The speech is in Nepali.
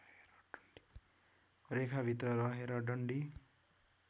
रेखाभित्र रहेर डन्डी